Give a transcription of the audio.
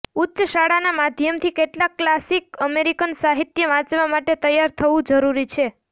ઉચ્ચ શાળાના માધ્યમથી કેટલાક ક્લાસિક અમેરિકન સાહિત્ય વાંચવા માટે તૈયાર થવું જરૂરી છે